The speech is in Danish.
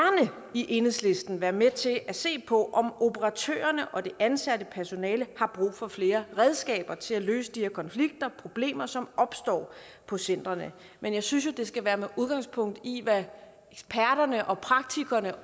i enhedslisten være med til at se på om operatørerne og det ansatte personale har brug for flere redskaber til at løse de her konflikter problemer som opstår på centrene men jeg synes jo det skal være med udgangspunkt i hvad eksperterne og praktikkerne